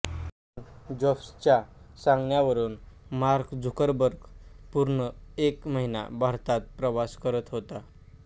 Steve जॉब्सच्या सांगण्यावरून Mark Zuckerberg पूर्ण एक महिना भारतात प्रवास करत होता